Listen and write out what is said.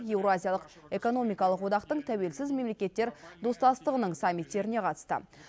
еуразиялық экономикалық одақтың тәуелсіз мемлекеттер достастығының саммиттеріне қатысты